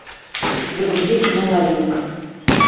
загрузи кино лавинг